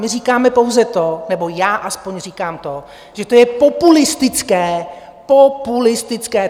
My říkáme pouze to, nebo já aspoň říkám to, že to je populistické, populistické!